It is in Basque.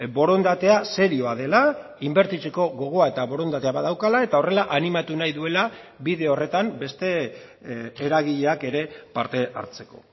borondatea serioa dela inbertitzeko gogoa eta borondatea badaukala eta horrela animatu nahi duela bide horretan beste eragileak ere parte hartzeko